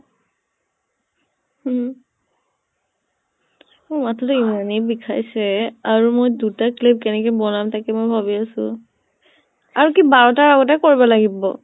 উম । মোৰ এনেই বিখাইছে আৰু মই দুটা clip কেনেকৈ বনাম তাকে মই ভাবি আছো । আৰু কি বাৰতা আগতে কৰিব লাগিব ?